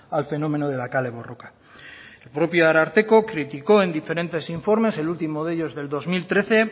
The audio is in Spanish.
al fenómeno de la kale borroka el propio ararteko criticó en diferentes informes el último de ellos del dos mil trece